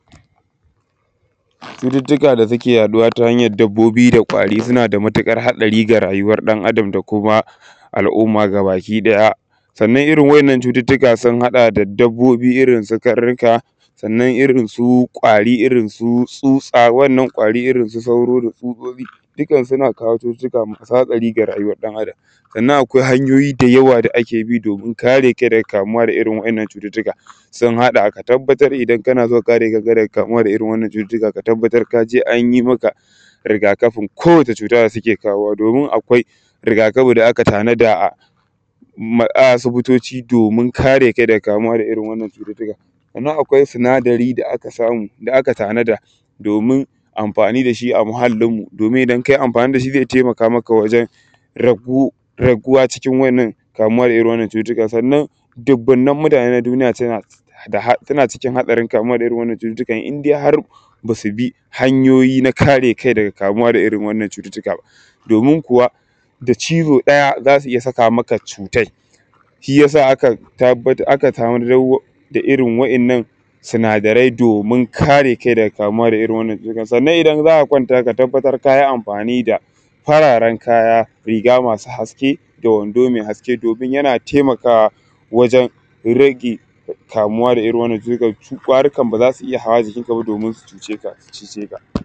domin amfani dashi a muhallin mu domin idan kai amfani dashi zai taimaka maka wurin raguwa daga kamuwa da irrin wadannan cututtukan dubunnen mutane na duniya na da hadarin kamuwa da irrin wadannan cututtukan inhar basubi hanyoyi na kare kai daga kamuwa da irrin wadannan cututtuka ba domin kuwa da chizo daya zasu iyya saka maka cutai shiyasa shiyasa aka samo irrin wadannan sinadaran domin kare kai daga kamuwa da irrin wadannan cututtukan sannan idan za’a kwanta ka tabbatar kayi amfani da fararen kaya riga masu haske da wando mai haske domin yana taimakawa waren rage kamuwa da irrin wadannan cututtukan su kwarikan ba zasu iyya hawa jikin kaba domin su cijeka